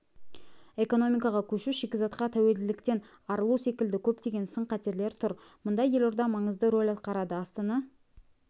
экономикаға көшу шикізатқа тәуелділіктен арылу секілді көптеген сын-қатерлер тұр мұнда елорда маңызды рөл атқарады астана